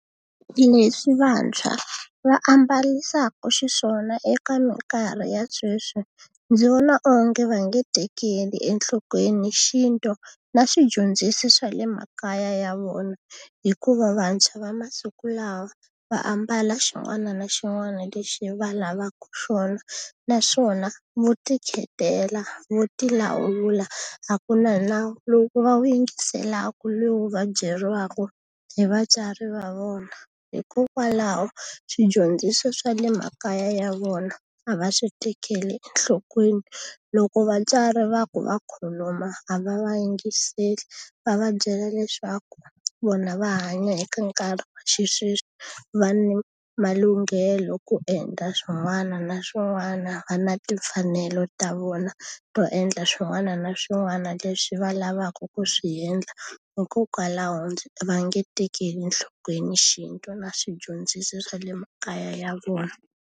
Leswi vantshwa va ambarisaka xiswona eka minkarhi ya sweswi, ndzi vona onge va nge tekeli enhlokweni xintu na swidyondziso swa le makaya ya vona. Hikuva vantshwa va masiku lawa va ambala xin'wana na xin'wana lexi va lavaka xona, naswona vo ti khethela, vo ti lawula, a ku na nawu lowu va wu yingiselaka lowu va byeriwaka hi vatswari va vona. Hikokwalaho swidyondziso swa le makaya ya vona, a va swi tekeli enhlokweni. Loko vatswari va ku va khuluma a va va yingiseli va va byela leswaku vona va hanya eka nkarhi wa xisweswi, va na malunghelo ku endla swin'wana na swin'wana va na timfanelo ta vona to endla swin'wana na swin'wana leswi va lavaka ku swi endla. Hikokwalaho va nge tekeli enhlokweni xintu na swidyondziso swa le makaya ya vona.